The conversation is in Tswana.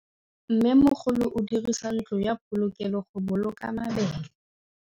Mmêmogolô o dirisa ntlo ya polokêlô, go boloka mabele.